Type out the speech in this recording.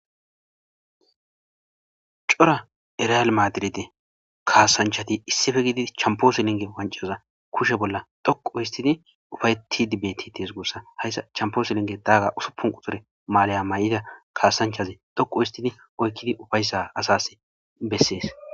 Cora erial maadiride kaasanchati issife gidi champoosilinge wanczoza kushe bolla dhoqu histidi ufayeti dibeti tees gussa hayssa champooselinge dagaga usupunqu tore maalaya may'ida kaasanchazi dhoqu histidi oykkidi ufayssa asas bessees.